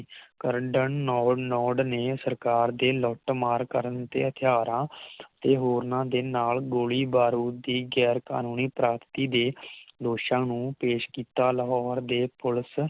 ਕਰਦੈੱਨ ਨੋ ਨੋਰਡ ਨੇ ਸਰਕਾਰ ਤੇ ਲੁੱਟ ਮਾਰ ਕਰਨ ਤੇ ਹਥਿਆਰਾਂ ਅਤੇ ਹੋਰ ਨਾ ਦੇ ਨਾਲ ਗੋਲੀ ਬਾਰੂਦ ਦੀ ਗੈਰ ਕਾਨੂੰਨੀ ਪ੍ਰਾਪਤੀ ਦੇ ਦੋਸ਼ਾਂ ਨੂੰ ਪੇਸ਼ ਕੀਤਾ ਲਾਹੌਰ ਦੇ ਪੁਲਿਸ